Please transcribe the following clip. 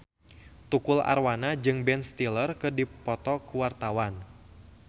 Tukul Arwana jeung Ben Stiller keur dipoto ku wartawan